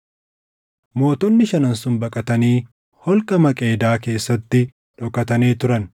Mootonni shanan sun baqatanii holqa Maqeedaa keessatti dhokatanii turan.